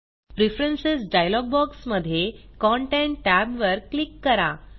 preference dialog बॉक्समधे content tab वर click करा